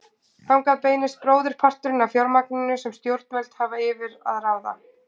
Þangað beinist bróðurparturinn af fjármagninu sem stjórnvöld hafa yfir að ráða.